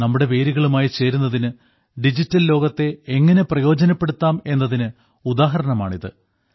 നമ്മുടെ വേരുകളുമായി ചേരുന്നതിന് ഡിജിറ്റൽ ലോകത്തെ എങ്ങനെ പ്രയോജനപ്പെടുത്താം എന്നതിന് ഉദാഹരണമാണ് ഇത്